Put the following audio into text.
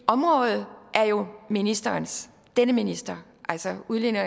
området er jo ministerens denne ministers altså udlændinge